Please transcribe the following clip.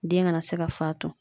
Den kana se ka fatu